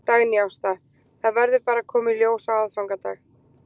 Dagný Ásta: Það verður bara að koma í ljós á aðfangadag?